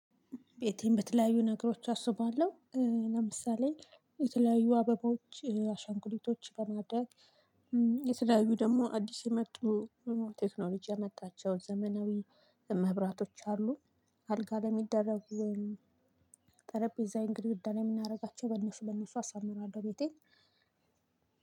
ቤቴን በተለያዩ ነገሮች አስውባለሁ። ለምሳሌ የተለያዩ አበባዎች አሻንጉሊቶች በማድረግ የተለያዩ ደግሞ አዲስ የመጡ ቴክኖሎጂ ያመጣቸው ዘመናዊ መብራቶች አሉ። አልጋ ለሚደረጉ ጠረጴዛዬን ግድግዳ ላይ የምናደርጋቸው በነሱ በነሱ አሳምራለሁ። ቤቴን